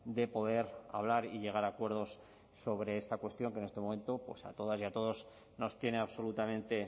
de poder hablar y llegar a acuerdos sobre esta cuestión que en este momento pues a todas y a todos nos tiene absolutamente